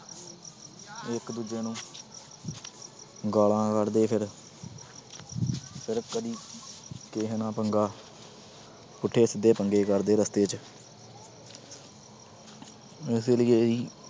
ਇਕ ਦੂਜੇ ਨੂੰ ਗਾਲਾਂ ਕੱਢਦੇ ਫਿਰ। ਕਦੀ ਕਿਸੇ ਨਾਲ ਪੰਗਾ ਪੁੱਠੇ ਸਿੱਧੇ ਪੰਗੇ ਕਰਦੇ ਰਸਤੇ ਚ ਇਸੇ ਲਈ ਇਹੀ